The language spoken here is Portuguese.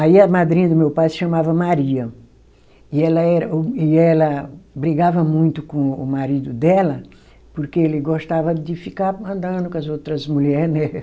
Aí a madrinha do meu pai se chamava Maria, e ela era o, e ela brigava muito com o marido dela, porque ele gostava de ficar andando com as outras mulher, né?